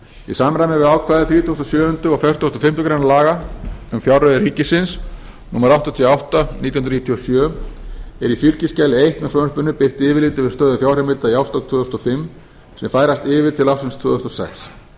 í samræmi við ákvæði þrítugustu og sjöunda og fertugasta og fimmtu grein laga um fjárreiður ríkisins númer áttatíu og átta nítján hundruð níutíu og sjö er í fylgiskjali eins með frumvarpinu birt yfirlit yfir stöðu fjárheimilda í árs tvö þúsund og fimm sem færast yfir til ársins tvö þúsund og sex